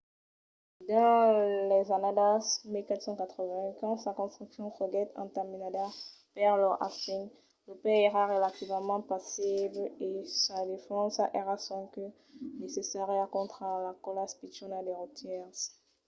dins las annadas 1480 quand sa construccion foguèt entamenada per lord hastings lo país èra relativament pasible e sa defensa èra sonque necessària contra las còlas pichonas de rotièrs